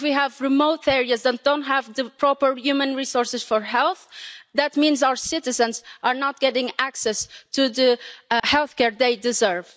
If we have remote areas that don't have the proper human resources for health, that means our citizens are not getting access to the healthcare they deserve.